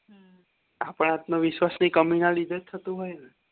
આપણ આત્મવિશ્વાસ ની કમીના લીધે થતું હોય ને